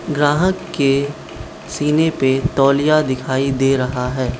ग्राहक के सीने पे तौलिया दिखाई दे रहा है।